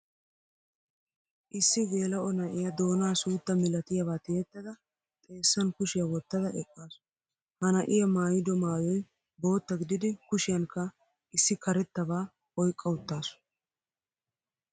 Issi gelao na'iyaa doona suutta milatiyaba tiyettada xeesan kushiya wottada eqqasu. Ha na'iyaa maayido maayoy bootta gidid kushiyankka issi karettaba oyqqa uttasu.